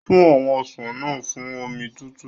Fún àwọn ọsàn náà fún omi tútù.